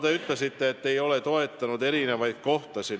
Te ütlesite, et me ei ole toetanud erinevaid piirkondi.